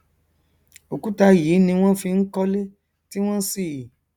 òkúta yìí ni wọn fi n kọlé tí wọn sì